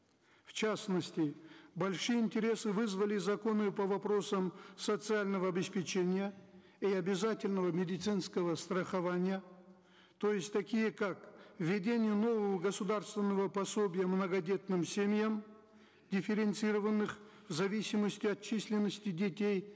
в частности большие интересы вызвали законы по вопросам социального обеспечения и обязательного медицинского страхования то есть такие как введение нового государственного пособия многодетным семьям дифференцированных в зависимости от численности детей